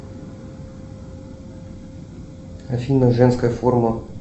афина женская форма